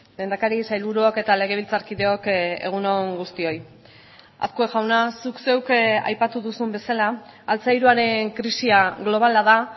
lehendakari sailburuok eta legebiltzarkideok egun on guztioi azkue jauna zuk zeuk aipatu duzun bezala altzairuaren krisia globala da